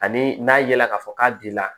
Ani n'a ye la k'a fɔ k'a binna